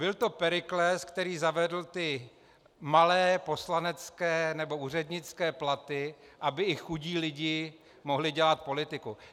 Byl to Perikles, který zavedl ty malé poslanecké nebo úřednické platy, aby i chudí lidé mohli dělat politiku.